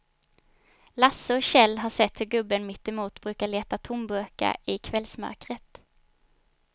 Lasse och Kjell har sett hur gubben mittemot brukar leta tomburkar i kvällsmörkret.